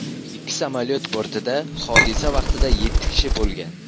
Ikki samolyot bortida hodisa vaqtida yetti kishi bo‘lgan.